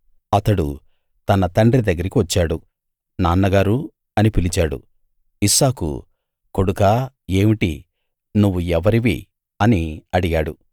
అతడు తన తండ్రి దగ్గరికి వచ్చాడు నాన్నగారూ అని పిలిచాడు ఇస్సాకు కొడుకా ఏమిటి నువ్వు ఎవరివి అని అడిగాడు